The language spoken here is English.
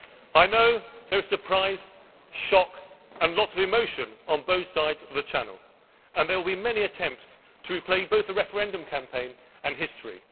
I know there was surprise, shock, and lots of emotion on both sides of the Channel, and there will be many attempts to replay both the referendum campaign and history.